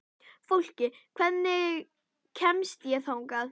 Fólki, hvernig kemst ég þangað?